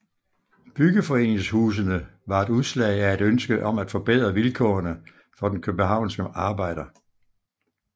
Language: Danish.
Byggeforeningshusene var et udslag af et ønske om at forbedre vilkårene for den københavnske arbejder